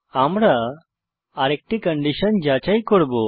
আমরা আরেকটি কন্ডিশন যাচাই করব